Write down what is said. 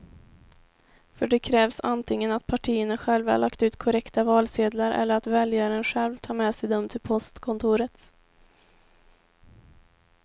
För det krävs antingen att partierna själva lagt ut korrekta valsedlar eller att väljaren själv tar med sig dem till postkontoret.